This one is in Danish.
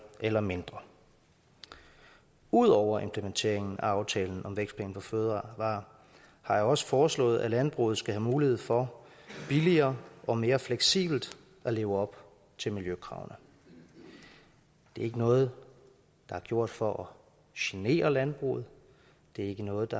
eller mindre ud over implementeringen af aftalen om vækstplan for fødevarer har jeg også foreslået at landbruget skal have mulighed for billigere og mere fleksibelt at leve op til miljøkravene det er ikke noget der er gjort for genere landbruget det er ikke noget